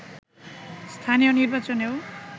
স্থানীয় নির্বাচনেও